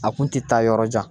A kun tɛ taa yɔrɔ jan